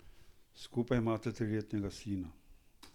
Skupaj imata triletnega sina.